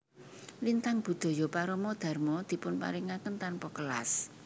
Lintang Budaya Parama Dharma dipun paringaken tanpa kelas